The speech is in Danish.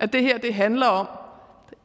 at det her handler om